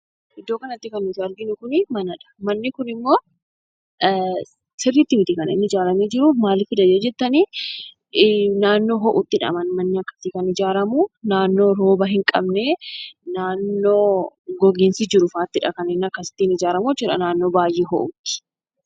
Iddoo kanatti kan nuti agarru kunii manadha. Manni kunimmoo sirriitti miti kan inni ijaarramee jiruu, maalifidha yoo jettanii naannoo ho'uttidha manni akkasii kan ijaarramuu, naannoo rooba hin qabnee, naannoo goginsi jirufaattidha kan inni akkasitti ijaaramu naannoo baayyee ho'uttii.